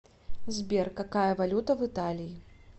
сбер какая валюта в италии